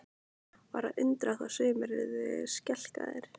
Var að undra þó sumir yrðu skelkaðir?